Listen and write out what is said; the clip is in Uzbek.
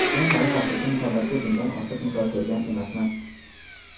Men hali haqiqiy muhabbatga budan ortiq misol ko‘rgan emasman.